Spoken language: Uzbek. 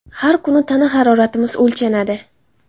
Har kuni tana haroratimiz o‘lchanadi.